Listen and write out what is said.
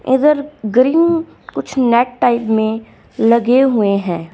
इधर ग्रीन कुछ net type में लगे हुए हैं।